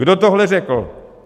Kdo tohle řekl?